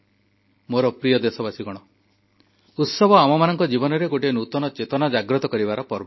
ମୋର ପ୍ରିୟ ଦେଶବାସୀ ଉତ୍ସବ ଆମମାନଙ୍କ ଜୀବନରେ ଗୋଟିଏ ନୂତନ ଚେତନା ଜାଗ୍ରତ କରିବାର ପର୍ବ